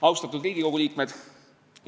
Austatud Riigikogu liikmed!